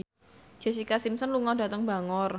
Jessica Simpson lunga dhateng Bangor